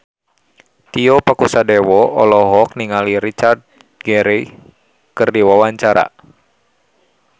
Tio Pakusadewo olohok ningali Richard Gere keur diwawancara